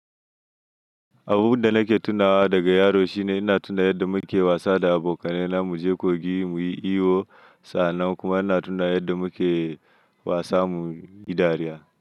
Abun da nake tunawa daga yaro shine ina tuna yadda muke wasa da abokanai na mu je kogi muyi iyo, saannan kuma ina tuno yadda muke wasa muyi dariya.